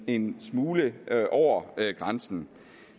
en smule over grænsen